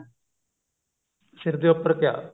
sir ਦੇ ਉੱਪਰ ਕਿਆ